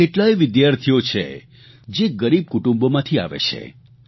એવા કેટલાય વિદ્યાર્થીઓ છે જે ગરીબ કુટુંબોમાંથી આવે છે